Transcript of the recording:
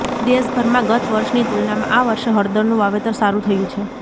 દેશભરમાં ગત વર્ષની તુલનામાં આ વર્ષે હળદરનું વાવેતર સારું થયું છે